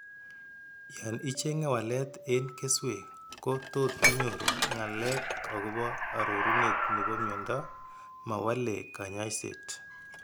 Yan icheng'e walet en keswek ko tot inyoru ng'alek agobo arorunet nebo miondo ma wale kanyaiset